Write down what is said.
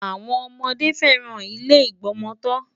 Àwọn ọmọdé fẹ́ràn ilé ìgbọmọtọ́.